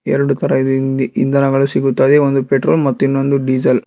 ಎರಡು ತರಹ ಇದೆ ಹಿಂದಿ ಇಂಧನಗಳು ಸಿಗುತ್ತದೆ ಒಂದು ಪೆಟ್ರೋಲ್ ಮತ್ತು ಇನ್ನೊಂದು ಡೀಸೆಲ್ .